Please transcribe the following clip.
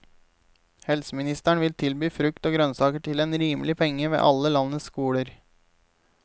Helseministeren vil tilby frukt og grønnsaker til en rimelig penge ved alle landets skoler.